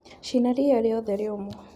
Cina ria riothe rĩũmũ..